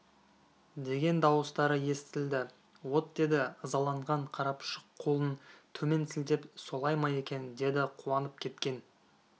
деген дауыстары естілді от деді ызаланған қарапұшық қолын төмен сілтеп солай ма екен деді қуанып кеткен